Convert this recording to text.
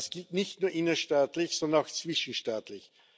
Das gilt nicht nur innerstaatlich, sondern auch zwischenstaatlich.